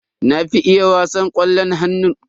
Na fi iya wasan ƙwallon hannu.